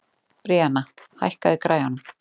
Bríanna, hækkaðu í græjunum.